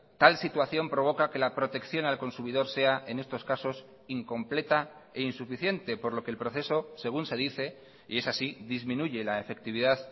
tal situación provoca que la protección al consumidor sea en estos casos incompleta e insuficiente por lo que el proceso según se dice y es así disminuye la efectividad